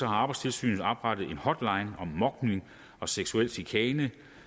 har arbejdstilsynet oprettet en hotline om mobning og seksuel chikane